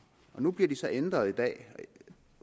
nu bliver de så ændret i dag